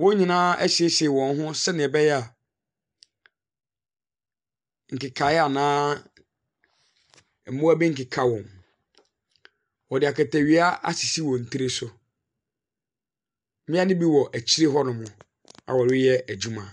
Wɔn nyinaa ɛsiesie wɔn ho sɛdeɛ beyɛ nkekaeɛ anaa mmoa bi nkeka wɔn. Ɔde akatawia ɛsisi wɔn tiri so mmia no bi wɔ akyir hɔ nom a ɔreyɛ adwuma.